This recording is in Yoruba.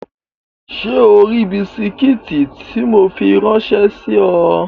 Ṣé o ri bisikí tí mo fi ráńṣẹ́ sí ọ?